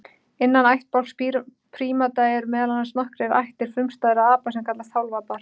Innan ættbálks prímata eru meðal annars nokkrar ættir frumstæðra apa sem kallast hálfapar.